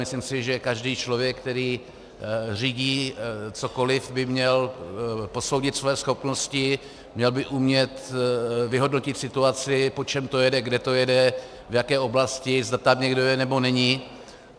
Myslím si, že každý člověk, který řídí cokoliv, by měl posoudit svoje schopnosti, měl by umět vyhodnotit situaci, po čem to jede, kde to jede, v jaké oblasti, zda tam někdo je nebo není.